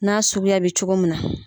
N'a sugu bɛ cogo min na.